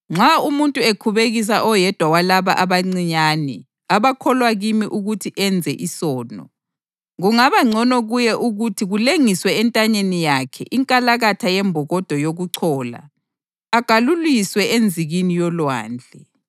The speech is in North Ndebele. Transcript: “Nxa umuntu ekhubekisa oyedwa walaba abancinyane abakholwa kimi ukuthi enze isono, kungabangcono kuye ukuthi kulengiswe entanyeni yakhe inkalakatha yembokodo yokuchola agaluliswe enzikini yolwandle.